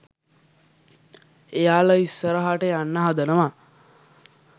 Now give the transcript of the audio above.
එයාලා ඉස්සරහට යන්න හදනවා